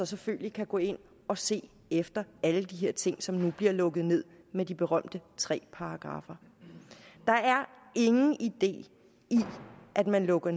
selvfølgelig kunne gå ind og se efter alle de her ting som nu bliver lukket ned med de berømte tre paragraffer der er ingen idé i at man lukker